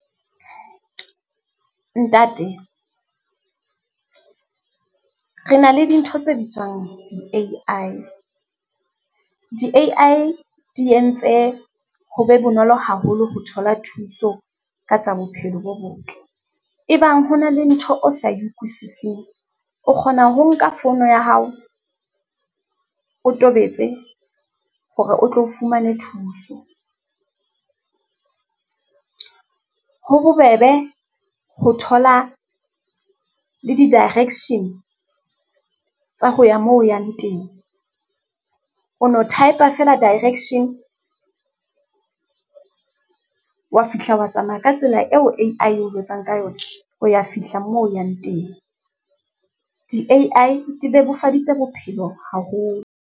Ntate re na le dintho tse bitswang di-A_I. Di-A_I di entse ho be bonolo haholo ho thola thuso ka tsa bophelo bo botle. E bang ho na le ntho o sa e utlwisising, o kgona ho nka fono ya hao, o tobetse hore o tlo o fumane thuso. Ho bobebe ho thola le di-direction tsa ho ya moo o yang teng, o no type-a feela direction, wa fihla wa tsamaya ka tsela eo A_I e o jwetsang ka yona, o ya fihla moo o yang teng. Di-A_I di bebofaditse bophelo haholo.